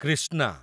Krishna